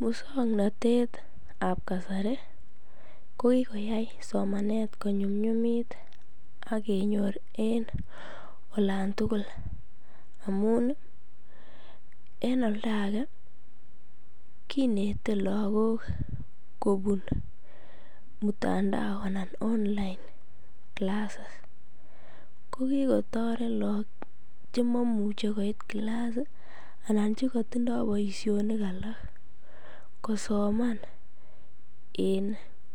Muswoknotetab kasari ko kikoyai somanet ko nyumnyumit ak kenyor olantukul amun en oldake kinete lokok kobun mutandao anan online classes, ko kikotoret look chemomuche koit class anan chekotindoi boishonik alak kosomann en